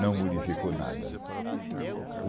Não modificou nada.